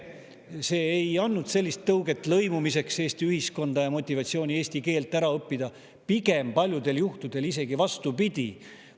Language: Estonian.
See ei andnud tõuget lõimumiseks Eesti ühiskonda ja motivatsiooni eesti keel ära õppida, pigem paljudel juhtudel isegi vastupidi.